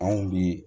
Anw bi